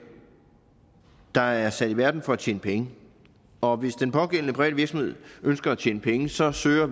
der er sat i verden for at tjene penge og hvis den pågældende private virksomhed ønsker at tjene penge så søger